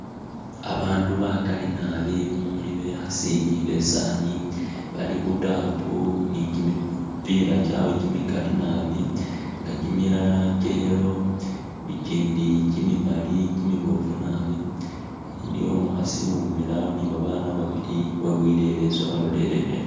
Abandu bagali naabi mumuli bekhasi ni besani bali khutaapu ni gimipila gyabwe gimigali naabi ne gimilala gya yellow igindi gimimali gimibofu naabi iliyo umukhasi wimile awo ni baana babili weboyele ileesu walolelele ino.